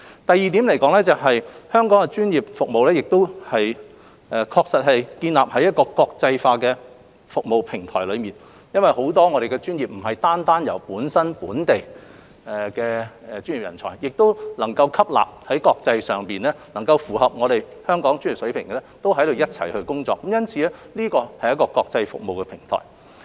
第二，香港的專業服務建立於國際化的服務平台上，很多專業不單有本地的專業人才，亦能吸納在國際上符合香港專業水平的人才一同工作，因此，這是國際服務的平台。